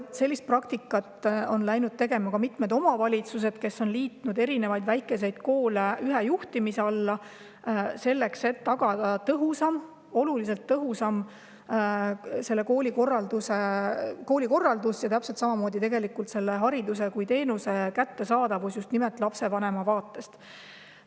Aga on läinud ka mitmed omavalitsused, kes on liitnud erinevaid väikeseid koole ühe juhtimise alla selleks, et tagada tõhusam koolikorraldus ja hariduse kui teenuse kättesaadavus just nimelt lapsevanema vaatest.